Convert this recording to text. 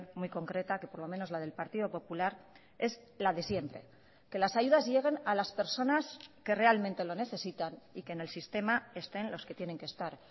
muy concreta que por lo menos la del partido popular es la de siempre que las ayudas lleguen a las personas que realmente lo necesitan y que en el sistema estén los que tienen que estar